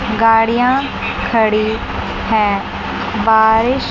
गाड़ियां खड़ी हैं बारिश--